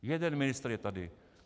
Jeden ministr je tady.